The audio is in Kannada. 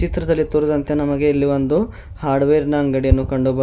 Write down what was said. ಚಿತ್ರದಲ್ಲಿ ತೋರಿದಂತೆ ನಮಗೆ ಇಲ್ಲಿ ಒಂದು ಹಾರ್ಡವೇರ್ ನ ಅಂಗಡಿ ಅನ್ನು ಕಂಡು ಬರುತ್ತಾ --